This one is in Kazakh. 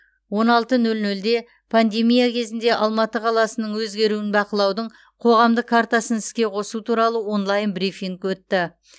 он алты нөл нөлде пандемия кезінде алматы қаласының өзгеруін бақылаудың қоғамдық картасын іске қосу туралы онлайн брифинг өтті